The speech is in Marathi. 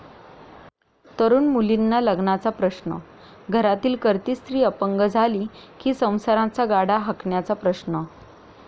तरुण मुलींना लग्नाचा प्रश्न, घरातील करती स्त्री अपंग झाली कि संसाराचा गाडा हाकण्याचा प्रश्न...